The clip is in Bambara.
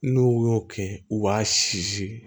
N'u y'o kɛ u b'a si si